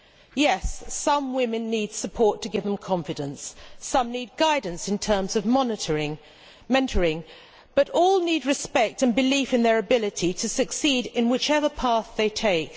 Yes, some women need support to give them confidence, some need guidance in terms of mentoring, but all need respect and belief in their ability to succeed in whichever path they take.